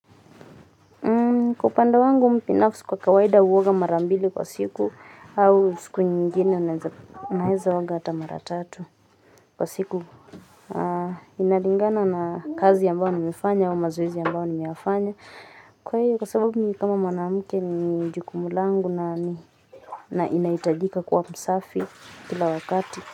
Kwa upande wangu mimi binafsi, kwa kawaida huoga mara mbili kwa siku, au siku nyingine naweza oga hata mara tatu kwa siku. Inalingana na kazi ambayo nimefanya au mazoezi ambayo nimeyafanya. Kwa hiyo kwa sababu mimi kama mwanamke ni jukumu langu ninahitajika kuwa msafi kila wakati.